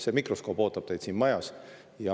See mikroskoop ootab teid siin majas.